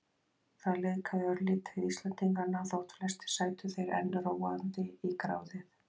Það liðkaði örlítið Íslendingana þótt flestir sætu þeir enn róandi í gráðið.